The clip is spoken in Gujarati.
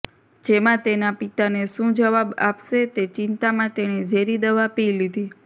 જેમાં તેના પિતાને શું જવાબ આપશે તે ચિંતામાં તેણે ઝેરી દવા પી લીધી